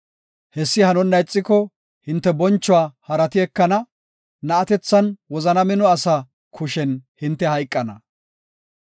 Hessi hanonna ixiko hinte bonchuwa harati ekana; na7atethan wozana mino asa kushen hinte hayqana.